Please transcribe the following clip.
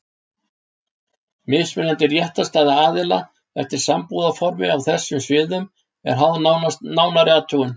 Mismunandi réttarstaða aðila eftir sambúðarformi á þessum sviðum er háð nánari athugun.